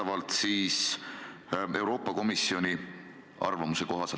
Ma viitan Euroopa Komisjoni arvamusele.